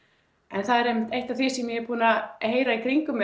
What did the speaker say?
en það er einmitt eitt af því sem ég er búin að heyra í kringum